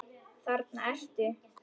Þarna ertu!